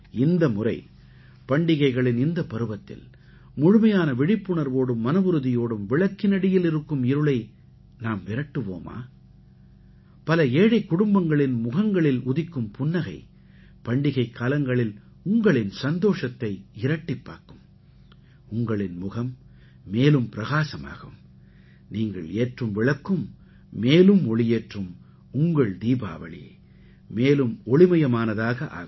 இந்தமுறை பண்டிகைகளின் இந்தப் பருவத்தில் முழுமையான விழிப்புணர்வோடும் மனவுறுதியோடும் விளக்கினடியில் இருக்கும் இருளை நாம் விரட்டுவோமா பல ஏழைக் குடும்பங்களின் முகங்களில் உதிக்கும் புன்னகை பண்டிகைக்காலங்களில் உங்களின் சந்தோஷத்தை இரட்டிப்பாக்கும் உங்களின் முகம் மேலும் பிரகாசமாகும் நீங்கள் ஏற்றும் விளக்கும் மேலும் ஒளியேற்றும் உங்கள் தீபாவளி மேலும் ஒளிமயமானதாக ஆகும்